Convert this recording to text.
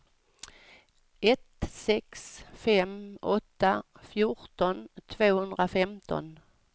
ett sex fem åtta fjorton tvåhundrafemton